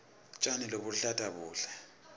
tjani lobuluhlata buhle